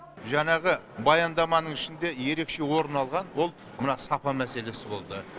жаңағы баяндаманың ішінде ерекше орын алған ол мына сапа мәселесі болды